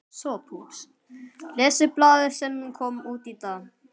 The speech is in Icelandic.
SOPHUS: Lesið blaðið sem kom út í dag.